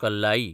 कल्लाई